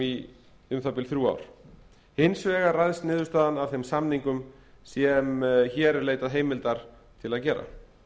í um það bil þrjú ár hins vegar ræðst niðurstaðan af þeim samningum sem hér er leitað heimildar til að gera